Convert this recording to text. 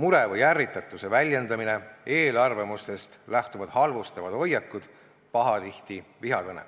mure või ärritatuse väljendamine, eelarvamustest lähtuvad halvustavad hoiakud, pahatihti vihakõne.